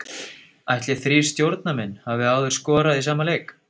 Ætli þrír stjórnarmenn hafi áður skorað í sama leik?